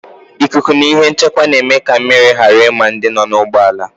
Wịnd na shịldi na-eme ka mmiri ghara ima ndị nọ n'ụgbọala